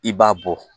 I b'a bɔ